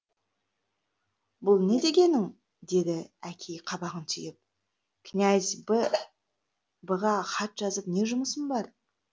бұ не дегенің деді әкей қабағын түйіп князь б ға хат жазып не жұмысым бар